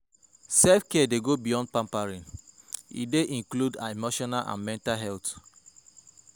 Self-care dey go beyond pampering; e dey include emotional and mental health.